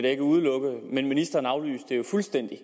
ikke udelukke mens ministeren fuldstændig